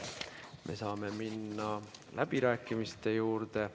Me saame minna läbirääkimiste juurde.